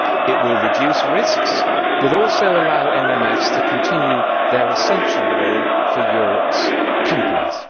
It will reduce risks, but also allow MMFs to continue their essential role for Europe's companies.